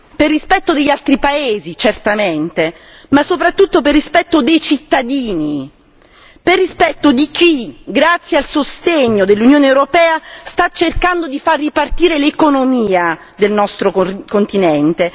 per rispetto degli altri paesi certamente, ma soprattutto per rispetto dei cittadini, per rispetto di chi grazie al sostegno dell'Unione europea sta cercando di far ripartire l'economia del nostro continente.